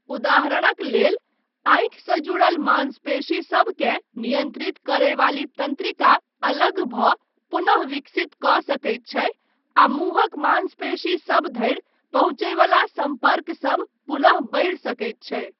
उदाहरणक लेल, आँखिसँ जुड़ल माँसपेशीसभकेँ नियन्त्रित करयवाली तन्त्रिका अलग भऽ पुनः विकसित कऽ सकैत छै आ मुँहक माँसपेशीसभ धरि पहुँचयवला सम्पर्कसब पुनः बढ़ि सकैत छै।